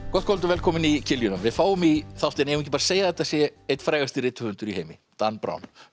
gott kvöld og velkomin í við fáum í þáttinn eigum við ekki að segja að þetta sé einn frægasti rithöfundur í heimi Dan Brown